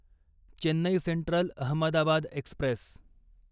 Chennai central Ahmedabad Express